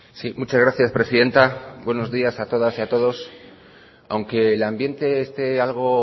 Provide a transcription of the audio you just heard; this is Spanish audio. sí muchas gracias presidenta buenos días a todas y a todos aunque el ambiente esté algo